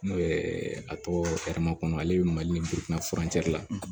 N'o ye a tɔgɔ hɛrɛma kɔnɔ ale bɛ malikina la